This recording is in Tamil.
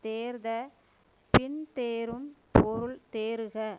தேர்ந்த பின் தேறும் பொருள் தேறுக